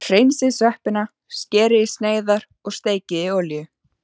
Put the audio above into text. Hreinsið sveppina, skerið í sneiðar og steikið í olíu.